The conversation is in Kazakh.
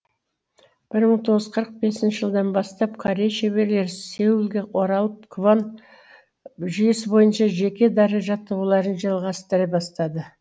бір мың тоғыз жүз қырық бесінші жылдан бастап корей шеберлері сеулге оралып квон жүйесі бойынша жеке дара жаттығуларын жалғастыра бастады